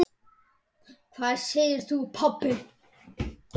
Hvað segir þú pabbi?